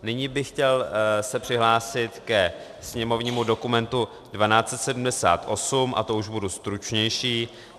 Nyní bych se chtěl přihlásit ke sněmovnímu dokumentu 1278 a to už budu stručnější.